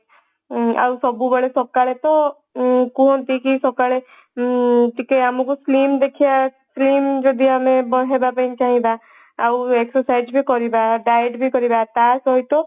ଆଉ ସବୁବେଳ ସକାଳେ ତ ଉଁ କୁହନ୍ତିକି ସକାଳେ ଉଁ ଟିକେ ଆମକୁ slim ଦେଖିବା slim ଯଦି ଆମେ ବନେଇବା ପାଇଁ ଚାହିଁବା ଆଉ exercise ବି ଆମେ କରିବା diet ବି କରିବା ତ ସହିତ